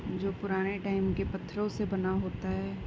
जो पुराने टाइम के पथरों से बना होता है।